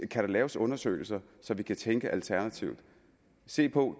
kan laves undersøgelser så vi kan tænke alternativt og se på